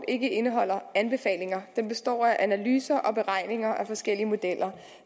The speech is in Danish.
ikke indeholder anbefalinger den består af analyser og beregninger af forskellige modeller